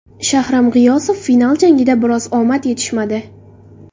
Shahram G‘iyosov: Final jangida biroz omad yetishmadi.